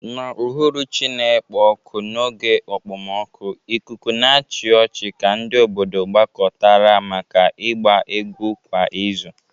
N'uhuruchi na-ekpo ọkụ n'oge okpomọkụ, ikuku na-achị ọchị ka ndị obodo gbakọtara maka ịgba egwu kwa izu.